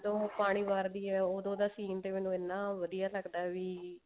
ਉਹ ਪਾਣੀ ਵਾਰਦੀ ਹੈ ਓਦੋਂ ਉਹਦਾ scene ਤੇ ਮੈਨੂੰ ਇੰਨਾ ਵਧੀਆ ਲੱਗਦਾ ਵੀ